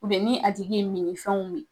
ni a tigi ye minnifɛnw min